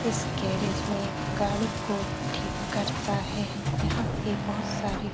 इस गैरेज में गाड़ी को ठीक करता है। यहाँ पे बहुत सारे --